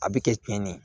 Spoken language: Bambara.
A bɛ kɛ cɛnni ye